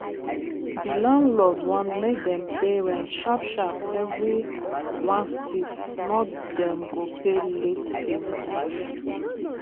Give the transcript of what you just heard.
di landlord want make dem pay rent sharp sharp every 1 stif not dem go pay late fee money.